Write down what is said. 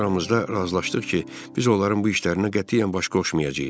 Öz aramızda razılaşdıq ki, biz onların bu işlərinə qətiyyən baş qoşmayacağıq.